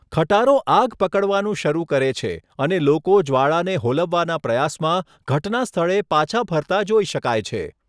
ખટારો આગ પકડવાનું શરૂ કરે છે અને લોકો જ્વાળાને હોલવવાના પ્રયાસમાં ઘટના સ્થળે પાછા ફરતા જોઈ શકાય છે.